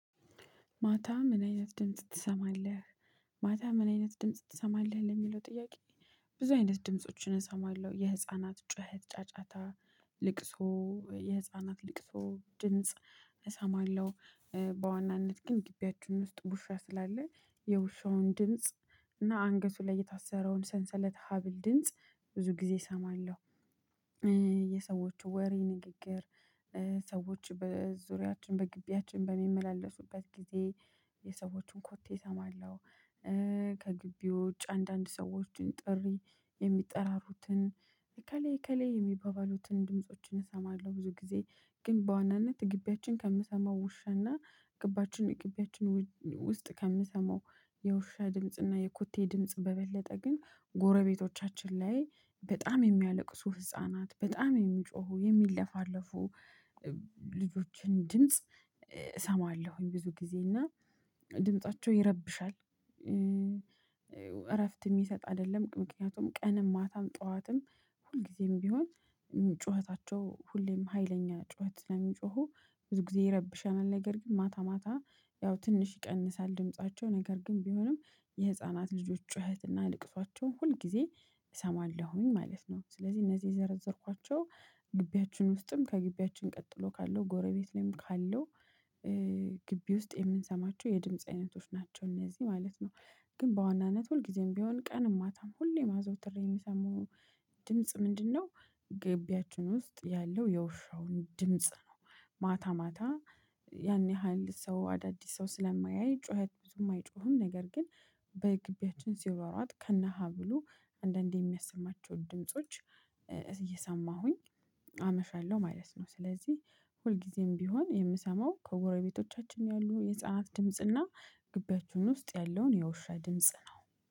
ማታ ምን አይነት ድምጽ ትሰማለህ ማታ ምን አይነት ድምጽ ትሰማለህ ለሚለው ጥያቄ? ብዙ አይነት ድምፆችን እሰማለሁ የህፃናት ጩኸት ጫጫታ ልቅሶ የህፃናት ልቅሶ ድምጽ እሰማለሁ። በዋናነት ግን ግቢያችን ውስጥ ውሻ ስላለ የውሻውን ድምጽ እና አንገቱ ላይ የታሰረውን ሰንሰለት ሀብል ድምጽ ብዙ ጊዜ እሰማለሁ። የሰዎቹ ወሬ ንግግር። ሰዎች በዙሪያችን በግቢያችን በሚመላለሱበት ጊዜ የሰዎችን ኮቴ እሰማለሁ። ከግቢ ውጭ አንዳንድ ሰዎችን ጥሪ የሚጠራሩትን እከሌ እከሌ የሚባባሉትን ድምፆችን እሰማለሁ። ብዙ ጊዜ ግን በዋናነት ግቢያችን ከምሰማው ውሻና ግባችን ግቢያችን ውጭ ውስጥ ከምሰማው የውሻ ድምጽና የኩቴ ድምጽ በበለጠ ግን ጎረቤቶቻችን ላይ በጣም የሚያለቅሱ ህፃናት በጣም የሚጮሁ የሚለፋለፉ ልጆችን ድምጽ እሰማለሁኝ። ብዙ ጊዜ እና ድምፃቸው ይረብሻል። እረፍት የሚሰጥ አይደለም ምክንያቱም ቀንም ማታም ጠዋትም ሁልጊዜም ቢሆን ጩኸታቸው ሁሌም ሀይለኛ ጩኸት ስለሚጮሁ ብዙ ጊዜ ይረብሸናል። ነገር ግን ማታ ማታ ያው ትንሽ ይቀንሳል ድምፃቸው ነገር ግን ቢሆንም የህፃናት ልጆች ጩኸት እና ለቅሷቸውን ሁል ጊዜ እሰማለሁኝ ማለት ነው። ስለዚህ እነዚህ የዘረዘርኳቸው ግቢያችን ውስጥም ከግቢያችን ቀጥሎ ካለው ጎረቤት ላይም ካለው ግቢ ውስጥ የምንሰማቸው የድምጽ አይነቶች ናቸው። እነዚህ ማለት ነው። ግን በዋናነት ሁልጊዜም ቢሆን ቀን ማታም ሁሌም አዘወትሬ የምሰማው ድምጽ ምንድነው? ግቢያችን ውስጥ ያለው የውሻውን ድምጽ ነው። ማታ ማታ ያን ያህል ሰው አዳዲስ ሰው ስለማያይ ጩኸት ብዙም አይጮህም ነገር ግን በግቢያችን ሲሯሯጥ ከነሀብሉ አንዳንዴ የሚያሰማቸው ድምጾች እየሰማሁኝ አመሻለው ማለት ነው። ስለዚህ ሁልጊዜም ቢሆን የምሰማው ከጎረቤቶቻችን ያሉ የህፃናት ድምጽና ግቢያችሁን ውስጥ ያለውን የውሻ ድምጽ ነው